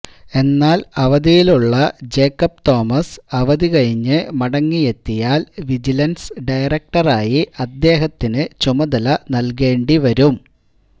എന്നാൽ അവധിയിലുള്ള ജേക്കബ് തോമസ് അവധി കഴിഞ്ഞ് മടങ്ങിയെത്തിയാൽ വിജിലൻസ് ഡയറക്ടറായി അദ്ദേഹത്തിന് ചുമതല നൽകേണ്ടി വരും